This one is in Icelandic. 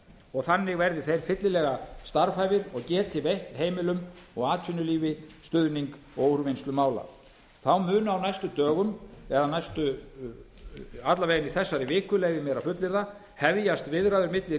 og þannig verði þeir fyllilega starfhæfir og geti veitt heimilum og atvinnulífi stuðning og úrvinnslu mála þá munu á næstu dögum eða alla vega í þessari viku leyfi ég mér að fullyrða hefjast viðræður milli